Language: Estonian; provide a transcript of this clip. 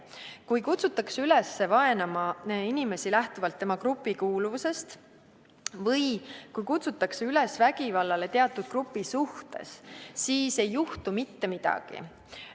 Kui kutsutakse üles vaenama inimest lähtuvalt tema grupikuuluvusest või kutsutakse üles vägivallale teatud grupi suhtes, siis ei juhtu mitte midagi.